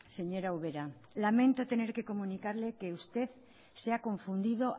señora ubera lamento tener que comunicarle que usted se ha confundido